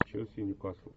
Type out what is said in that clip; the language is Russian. челси ньюкасл